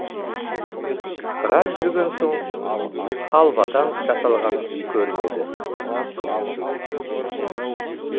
біраз жүрген сон халвадан жасалған үй көрінеді